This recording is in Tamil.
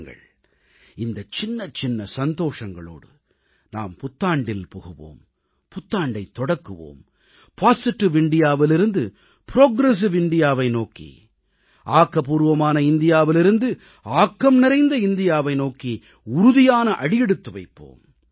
வாருங்கள் இந்தச் சின்னச்சின்ன சந்தோஷங்களோடு நாம் புத்தாண்டில் புகுவோம் புத்தாண்டைத் தொடக்குவோம் பொசிட்டிவ் indiaவிலிருந்து புரோகிரசிவ் indiaவை நோக்கி ஆக்கப்பூர்வமான இந்தியாவிலிருந்து ஆக்கம்நிறைந்த இந்தியாவை நோக்கி உறுதியான அடியெடுத்து வைப்போம்